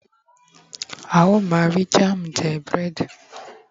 a o ma ri jam je bread